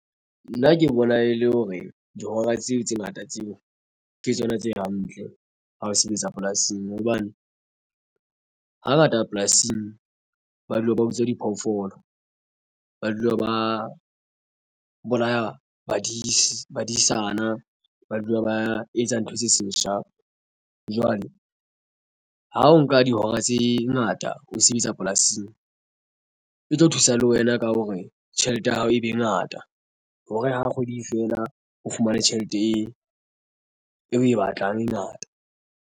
Nna ke bona e le hore dihora tseo tse ngata tseo ke tsona tse hantle ha o sebetsa polasing hobane hangata polasing ba dula ba utswa diphoofolo ba dula ba bolaya badisana ba dula ba etsa ntho tse seshapo. Jwale ha o nka dihora tse ngata ha o sebetsa polasing e tlo thusa le wena ka hore tjhelete ya hao e be ngata hore ha kgwedi e fela o fumane tjhelete e o e batlang e ngata.